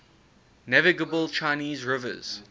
navigable chinese rivers